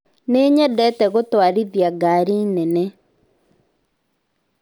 Nĩnyendete gũtũarithĩa gari nene